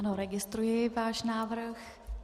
Ano, registruji váš návrh.